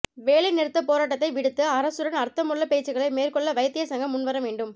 வேலைநிறுத்தப் போராட்டத்தை விடுத்து அரசுடன் அர்த்தமுள்ள பேச்சுகளை மேற்கொள்ள வைத்தியர் சங்கம் முன்வர வேண்டும்